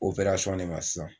ne ma sisan.